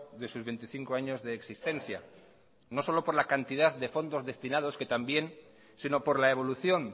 de sus veinticinco años de existencia no solo por la cantidad de fondos destinados que también sino por la evolución